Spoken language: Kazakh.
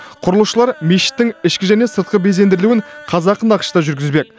құрылысшылар мешіттің ішкі және сыртқы безендірілуін қазақы нақышта жүргізбек